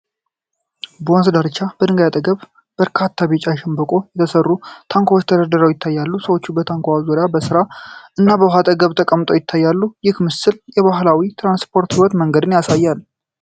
በወንዝ ዳርቻ በድንጋዮች አጠገብ በርካታ ቢጫ ከሸምበቆ የተሰሩ ታንኳዎች ተደርድረው ይታያሉ። ሰዎች በታንኳዎቹ ዙሪያ በስራ እና በውሃው አጠገብ ተቀምጠው ይታያሉ፤ ይህ ምስል የባህላዊ የትራንስፖርትና የሕይወት መንገድን ያሳያል።